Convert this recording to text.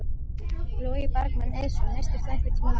Logi Bergmann Eiðsson: Misstir þú einhvern tímann vonina?